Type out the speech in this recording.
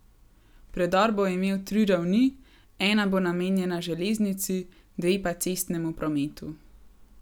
Predor bo imel tri ravni, ena bo namenjena železnici, dve pa cestnemu prometu.